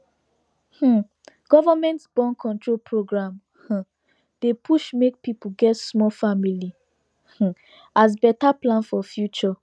um government borncontrol program um dey push make people get small family um as better plan for future